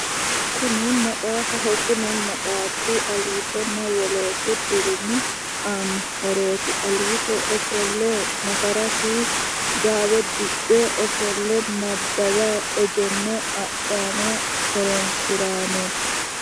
Kuni maxaafaho kuni maxaafi aliitonna wolootu dirimi aanno horooti aliito ofolle nafarasi gaawe diphe ofolle nabbawayi egenno adhayi horonsirayi no